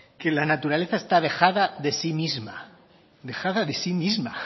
que la naturaleza está dejada de sí misma dejada de sí misma